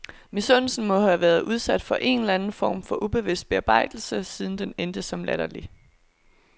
Misundelsen må have været udsat for en eller anden form for ubevidst bearbejdelse, siden den endte som latterlig.